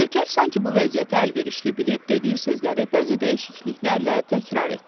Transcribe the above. Nökər sanki bu vəziyyəti əlverişli bilib dediyi sözləri bəzi dəyişikliklərlə təkrar etdi.